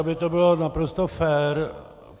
Aby to bylo naprosto fér.